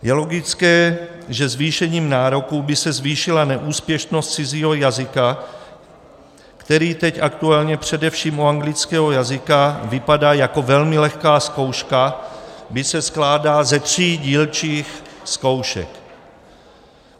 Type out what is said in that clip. Je logické, že zvýšením nároků by se zvýšila neúspěšnost cizího jazyka, který teď aktuálně především u anglického jazyka vypadá jako velmi lehká zkouška, byť se skládá ze tří dílčích zkoušek.